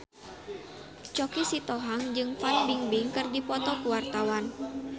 Choky Sitohang jeung Fan Bingbing keur dipoto ku wartawan